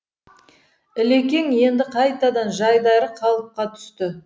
ілекең енді қайтадан жайдары қалыпқа түсті